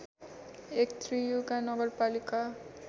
एक त्रियुगा नगरपालिका